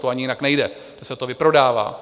To ani jinak nejde, se to vyprodává.